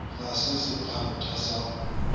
ga se sephantha sa go